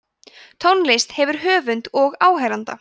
tónlist hefur höfund og áheyranda